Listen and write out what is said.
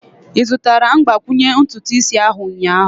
Ị zụtara mgbakwunye ntutu isi ahu ụnyaahụ?